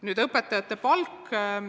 Nüüd õpetajate palgast.